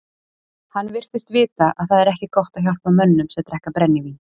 Hann virtist vita að það er ekki gott að hjálpa mönnum sem drekka brennivín.